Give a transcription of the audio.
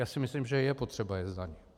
Já si myslím, že je potřeba je zdanit.